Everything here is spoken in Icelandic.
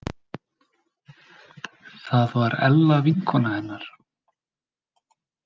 Það var Ella vinkona hennar.